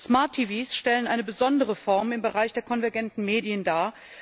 Smart TVs stellen eine besondere Form im Bereich der konvergenten Medien dar.